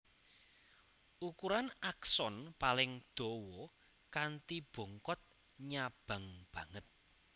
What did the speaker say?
Ukuran akson paling dawa kanthi bongkot nyabang banget